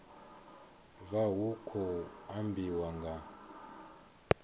vha hu khou ambiwa nga